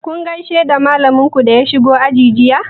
Kun gaishe da malamin ku da ya shigo aji jiya?